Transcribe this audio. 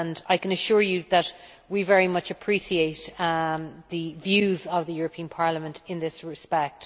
I can assure you that we very much appreciate the views of the European Parliament in this respect.